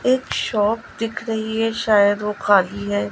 एक शॉप दिख रही है शायद वो खाली है।